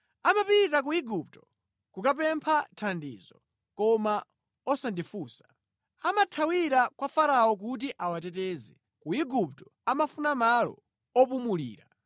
Amapita ku Igupto kukapempha thandizo koma osandifunsa; amathawira kwa Farao kuti awateteze, ku Igupto amafuna malo opulumulira.